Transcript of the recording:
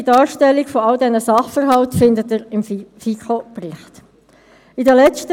Dass eine Umstellung auf ein neues Rechnungsmodell nicht einfach ist, bestreitet sicher niemand.